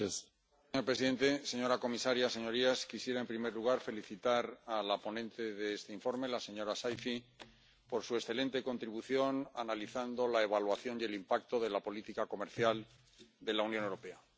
Señor presidente, señora comisaria, señorías, quisiera en primer lugar felicitar a la ponente de este informe, la señora Saïfi, por su excelente contribución analizando la evaluación y el impacto de la política comercial de la Unión Europea.